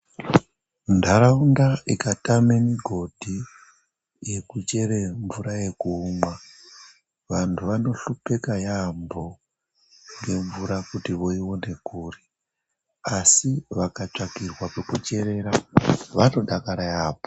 Ntharaunda ikatame migodhi yekuchere mvura yekumwa vanthu vanohlukeka yaamho ngemvura kuti voina kuri asi vakatsvakirwe pekucherera vanodakara yaamho.